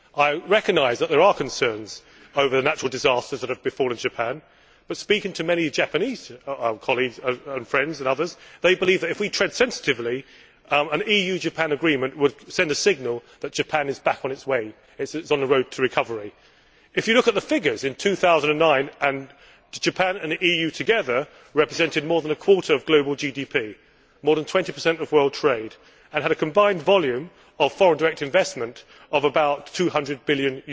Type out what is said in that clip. I recognise that there are concerns over the natural disasters that have befallen Japan, but I have spoken to many Japanese colleagues, friends and others who believe that, if we tread sensitively, an EU Japan agreement would send a signal that Japan is back on its way and is on the road to recovery. If you look at the figures, in 2009, Japan and the EU together represented more than a quarter of global GDP and more than 20 of world trade, and had a combined volume of foreign direct investment of about EUR 200 billion.